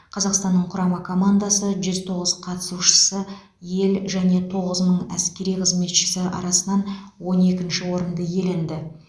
қазақстанның құрама командасы жүз тоғыз қатысушысы ел және тоғыз мың әскери қызметшісі арасынан он екінші орынды иеленді